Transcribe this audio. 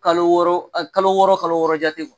Kalo wɔɔrɔ e kalo wɔɔrɔ o kalo wɔɔrɔ jate